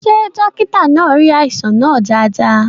Ṣé dókítà náà rí àìsàn náà dáadáa?